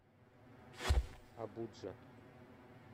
абуджа